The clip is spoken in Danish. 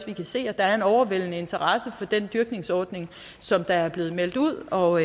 vi kan se at der er en overvældende interesse for den dyrkningsordning som der er blevet meldt ud og